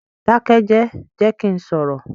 Dákẹ́jẹ̀, jẹ́ kí n sọ̀rọ̀!